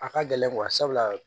A ka gɛlɛn sabula